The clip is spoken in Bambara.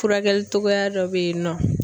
Furakɛli togoya dɔ bɛ yen nɔ.